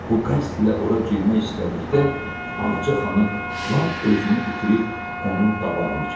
Bu qəsd ilə ora girmək istədikdə Ağca xanım lap özünü itirib onun qabağını kəsdi.